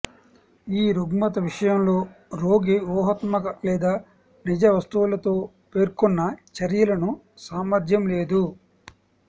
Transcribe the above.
ఈ రుగ్మత విషయంలో రోగి ఊహాత్మక లేదా నిజ వస్తువులతో పేర్కొన్న చర్యలను సామర్ధ్యం లేదు